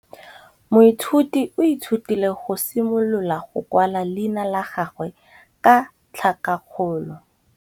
Moithuti o ithutile go simolola go kwala leina la gagwe ka tlhakakgolo.